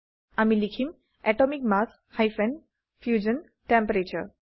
আমি লিখিম atomic mass hyphen fusion টেম্পাৰাটোৰে